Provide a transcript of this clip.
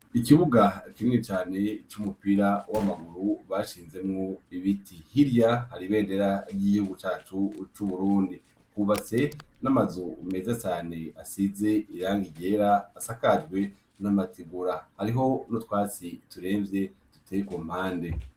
Ikibuga akinwe cane c'umupira w'amaguru bashinzemwo ibiti hilya haribendera ry'igihugu cacu c'uburundi kuba se n'amazu umeza sane asize irange ryera asakajwe n'amatigura hariho no twasi turemvye dutekumpande.